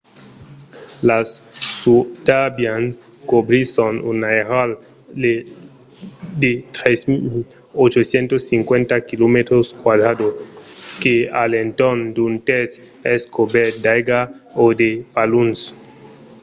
las sundarbians cobrisson un airal de 3 850 km² que a l'entorn d'un tèrç es cobèrt d'aiga o de paluns